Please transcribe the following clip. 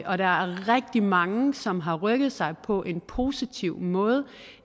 og der er rigtig mange som har rykket sig på en positiv måde